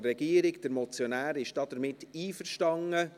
Der Motionär ist damit einverstanden.